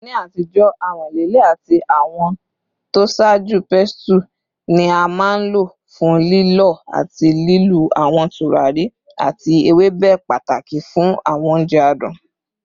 Ni atijo, amọ-lile ati awọn tosaaju pestle ni a maa n lo fun lilọ ati lilu awọn turari ati ewebe, pataki fun awọn ounjẹ adun.